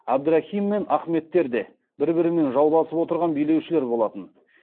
әбдірахим мен ахметтер де бір бірімен жауласып отырған билеушілер болатын